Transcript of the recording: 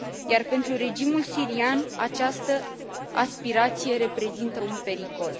Iar pentru regimul sirian această aspirație reprezintă un pericol.